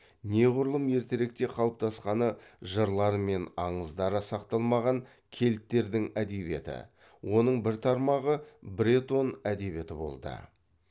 неғұрлым ертеректе қалыптасқаны жырлары мен аңыздары сақталмаған кельттердің әдебиеті оның бір тармағы бретон әдебиеті болды